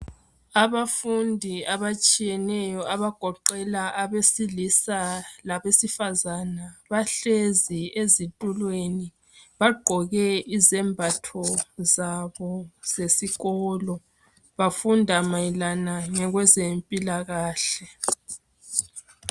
Abafundi abatshiyeneyo abagoqela abesilisa labesifazana, bahlezi ezitulweni bagqoke izembatho zabo zesikolo bafunda mayelana ngokwezempilakahle.